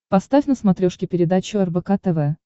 поставь на смотрешке передачу рбк тв